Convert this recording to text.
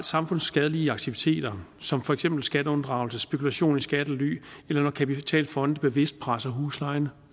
samfundsskadelige aktiviteter som for eksempel skatteunddragelse spekulation i skattely eller når kapitalfonde bevidst presser huslejen